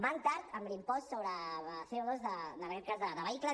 van tard amb l’impost sobre cohicles